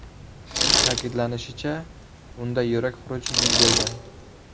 Ta’kidlanishicha, unda yurak xuruji yuz bergan.